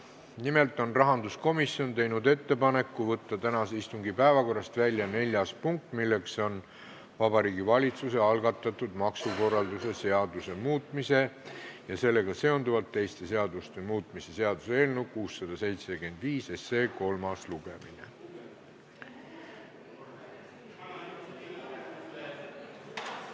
Nimelt on rahanduskomisjon teinud ettepaneku võtta tänase istungi päevakorrast välja neljas punkt, milleks on Vabariigi Valitsuse algatatud maksukorralduse seaduse muutmise ja sellega seonduvalt teiste seaduste muutmise seaduse eelnõu kolmas lugemine.